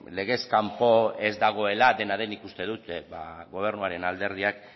legez kanpo ez dagoela dena den nik uste dut gobernuaren alderdiak